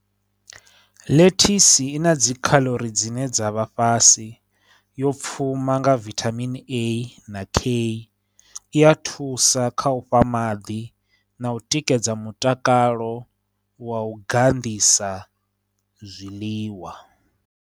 Lettuce i na dzi calorie dzine dza vha fhasi, yo pfuma nga vitamin A na K, i ya thusa kha u fha maḓi na u tikedza mutakalo wa u ganḓisa zwiḽiwa.